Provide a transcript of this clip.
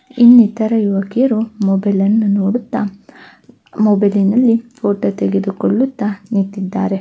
ಇಲ್ಲಿ ನಿತ್ತರ ಯುವಕಿಯರು ಮೊಬೈಲ್ ಅನ್ನು ನೋಡುತ್ತಾ ಮೊಬೈಲಿ ನಲ್ಲಿ ಫೊಟೊ ತೆಗೆದುಕೊಳ್ಳುತ್ತ ನಿತ್ತಿದ್ದಾರೆ.